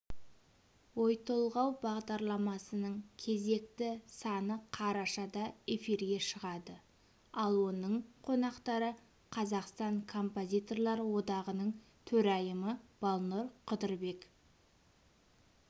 ой-толғау бағдарламасының кезекті саны қарашада эфирге шығады ал оның қонақтары қазақстан композиторлар одағының төрайымы балнұр қыдырбек